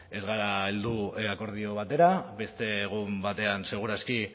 ez gara heldu akordio batera beste egun batean seguru aski